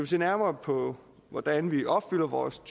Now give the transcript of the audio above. se nærmere på hvordan vi opfylder vores